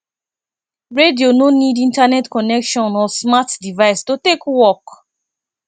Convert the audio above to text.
radio no need internet connection or smart device to take work